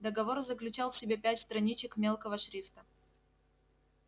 договор заключал в себе пять страничек мелкого шрифта